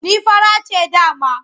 Ni fara ce dama.